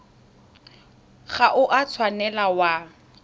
ga o a tshwanela wa